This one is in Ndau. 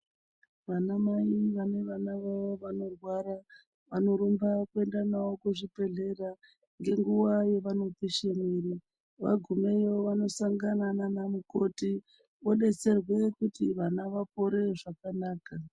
Vana mai vane vana vavo vanorwara vanorumba kuenda navo kuzvibhedhlera ngenguwa yqvanopishe miri vagumeyo vanosangana nana mukoti odetserwe kuti vana vapore zvakanaka.